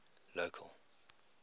local